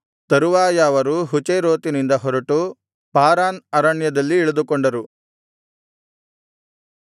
ತರುವಾಯ ಅವರು ಹಚೇರೋತಿನಿಂದ ಹೊರಟು ಪಾರಾನ್ ಅರಣ್ಯದಲ್ಲಿ ಇಳಿದುಕೊಂಡರು